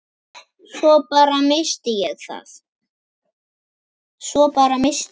Svo bara. missti ég það.